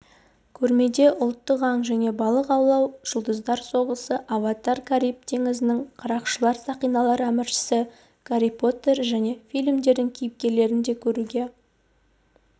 көрмеде ұлттық аң және балық аулау жұлдыздар соғысы аватар кариб теңізінің қарақшылары сақиналар әміршісі гарри поттер және фильмдердің кейіпкерлерін де көруге